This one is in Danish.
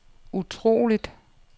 utroligt